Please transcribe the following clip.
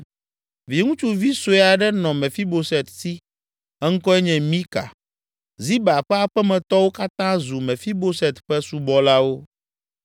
Viŋutsuvi sue aɖe nɔ Mefiboset si; eŋkɔe nye Mika. Ziba ƒe aƒemetɔwo katã zu Mefiboset ƒe subɔlawo.